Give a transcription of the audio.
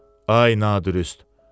Ay nadürüst!